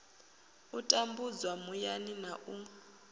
u tambudzwa muyani na u